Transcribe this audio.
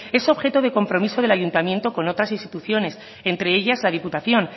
es objeto de compromiso del ayuntamiento con otras instituciones entre ellas la diputación